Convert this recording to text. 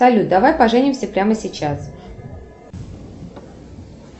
салют давай поженимся прямо сейчас